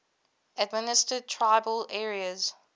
administered tribal areas